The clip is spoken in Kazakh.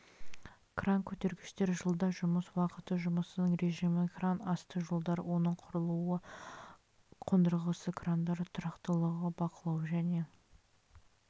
кран көтергіштер жылда жұмыс уақыты жұмысының режимі кран асты жолдары оның құрылуы қондырғысы крандар тұрақтылығы бақылау және